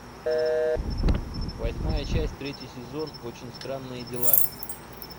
восьмая часть третий сезон очень странные дела